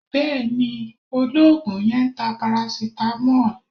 Bẹ́ẹ̀ ni, olóògùn yẹn ń ta paracetamol